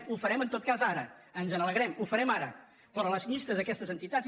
ho farem en tot cas ara ens n’alegrem ho farem ara però la llista d’aquestes entitats